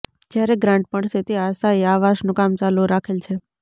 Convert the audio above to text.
જયારે ગ્રાન્ટ મળશે તે આશાયે આવાસનું કામ ચાલુ રાખેલ છે